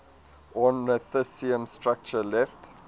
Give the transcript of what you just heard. ornithischian structure left